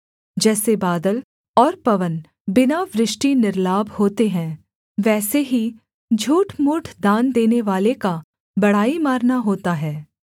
जैसे बादल और पवन बिना वृष्टि निर्लाभ होते हैं वैसे ही झूठमूठ दान देनेवाले का बड़ाई मारना होता है